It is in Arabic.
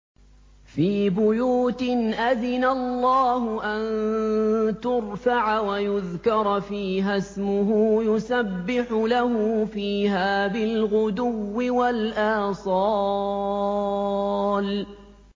فِي بُيُوتٍ أَذِنَ اللَّهُ أَن تُرْفَعَ وَيُذْكَرَ فِيهَا اسْمُهُ يُسَبِّحُ لَهُ فِيهَا بِالْغُدُوِّ وَالْآصَالِ